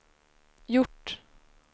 gjort